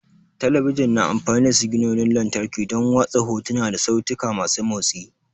Talabijin na amfani da siginonin lantarki don watsa hotuna da sautika masu motsi.